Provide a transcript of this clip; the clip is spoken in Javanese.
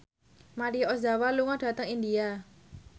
Maria Ozawa lunga dhateng India